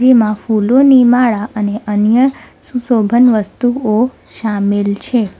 માં ફૂલોની માળા અને અન્ય સુશોભન વસ્તુઓ શામેલ છે.